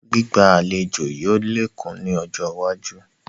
Gbígba àlejò yìí ó lékún ni ọjọ́ iwájú